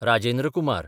Rajendra Kumar